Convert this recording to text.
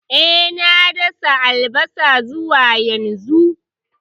E, na dasa albasa zuwa yanzu.